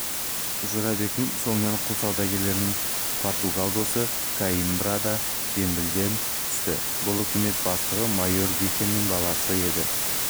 жорабектің соңынан құл саудагерінің португал досы коимбра да зембілден түсті бұл үкімет бастығы майор вихенің баласы еді